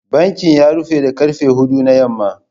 Bankin ya rufe da karfe huɗu na yamma.